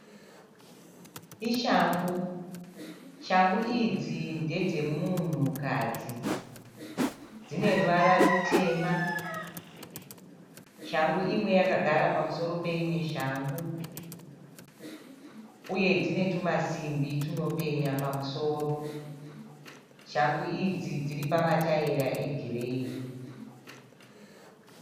Ishangu, shangu idzi ndedze munhukadzi. Dzine ruvara rutema. Shangu imwe yakagara pamusoro peimwe shangu uye dzine tumasimbi tunopenya pamusoro. Shangu idzi dzakadara pamataira egireyi.